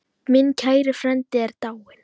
Minn kæri frændi er dáinn.